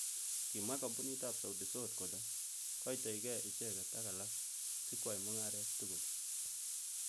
Kimwa kampunit ab Sauti sol kole koitoyokei icheket ak alak sikwai mungaret tugul.